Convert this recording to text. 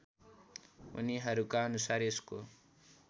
उनीहरूका अनुसार यसको